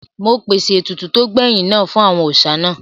Mo pèsè ètùtù tó gbẹ̀yìn náà fún àwọn òòsà náà